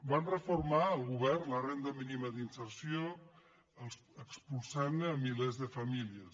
va reformar el govern la renda mínima d’inserció expulsant ne milers de famílies